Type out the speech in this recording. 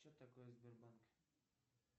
че такое сбербанк